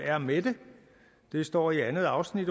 er med det det står i andet afsnit